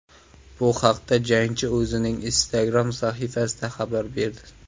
Bu haqda jangchi o‘zining Instagram sahifasida xabar berdi .